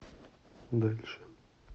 дальше